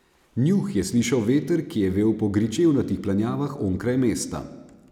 Njuh je slišal veter, ki je vel po gričevnatih planjavah onkraj mesta.